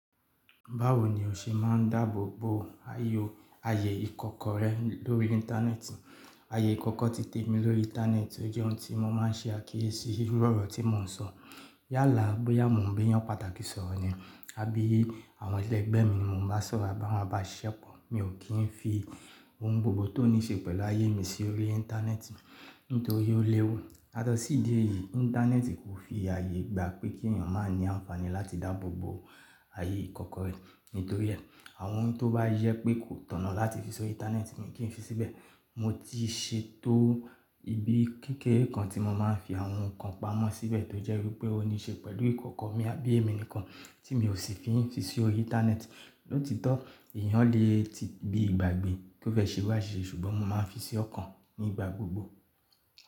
Báwo ni o ṣe máa ń dáàbòbò ayò ayé ìkọ̀kọ̀ rẹ lórí Íńtánẹ́ẹ̀tì? Ayé ìkọ̀kọ̀ ti tèmi lórí Íńtánẹ́ẹ̀tì ọ jẹ́ ohun tí mo máa ń ṣe àkíyèsí iru ọ̀rọ̀ tí mo ń sọ. Yálà bóyá mò ń béyàn pàtàkì sọ̀rọ̀ ni àbí àwọn eleẹgbẹ́ mi ni mò ń bá sọ̀rọ̀ ati awọn abasiṣépọ̀, mi ò kí ń fi ohun gbogbo tó ní ṣe pẹ̀lú ayé mi sí orí Íńtánẹ́ẹ̀tì nítorí ó léwu. Yátọ sí ìdí èyí, Íńtánẹ́ẹ̀tì kò fi ààyè gba pé kí èèyàn máa ní àǹfààní láti dáàbò bo ayé ìkọ̀kọ̀ rẹ. uNítorí ẹ, àwọn ohun tó bá yẹ́ pé kò tọ̀nà láti fi sori Íńtánẹ́ẹ̀tì mi kí ń fi síbẹ̀. Mo ti ṣètò ibi kékeré kan tí mo máa ń fi àwọn nnkan pamọ́ síbẹ̀ tó jẹ́ wípé ó ní ṣe pẹ̀lú ìkọ̀kọ̀ mi àbí èmi nìkan tí mi ò sì fi n sí orí Íńtánẹ́ẹ̀tì. Lóòtítọ́ èèyàn lè ti bi ìgbàgbé kó fẹ́ ṣe iru aṣíṣe ṣùgbọ́n mo máa ń fi sí ọ̀kan nígbà gbogbo.